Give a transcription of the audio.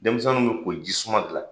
Denmisɛnninw ye ko jisuman de la